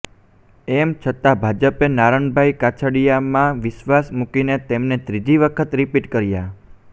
એમ છતાં ભાજપે નારણભાઈ કાછડિયામાં વિશ્વાસ મૂકીને તેમને ત્રીજી વખત રિપિટ કર્યા